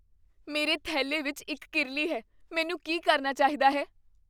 ਮੇਰੇ ਥੈਲੇ ਵਿੱਚ ਇੱਕ ਕੀਰਲੀ ਹੈ। ਮੈਨੂੰ ਕੀ ਕਰਨਾ ਚਾਹੀਦਾ ਹੈ?